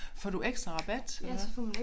Får du ekstra rabat eller hvad